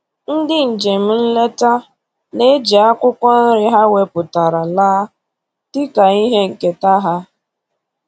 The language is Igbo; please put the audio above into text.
Ndị njem nleta na-eji akwụkwọ nri ha wepụtara laa dịka ihe nketa ha